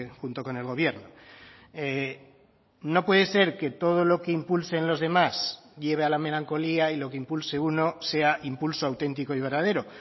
junto con el gobierno no puede ser que todo lo que impulsen los demás lleve a la melancolía y lo que impulse uno sea impulso auténtico y verdadero